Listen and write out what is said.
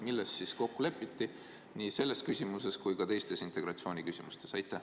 Milles siis kokku lepiti nii selles küsimuses kui ka teistes integratsiooniküsimustes?